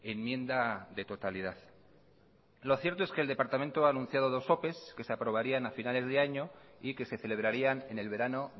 enmienda de totalidad lo cierto es que el departamento ha anunciado dos opes que se aprobarían a finales de año y que se celebrarían en el verano